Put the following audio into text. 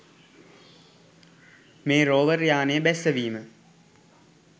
මේ රෝවර් යානය බැස්සවීම